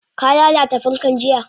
Ka lalata fankan jiya?